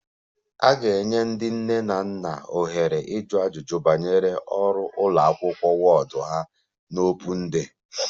A ga-enye ndị nne na nna ohere ịjụ ajụjụ banyere ọrụ ụlọ akwụkwọ ward ha na Open day